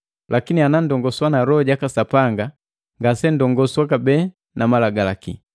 Lakini ananndongoswa na Loho jaka Sapanga, ngasenndongoswa kabee na malagalaki.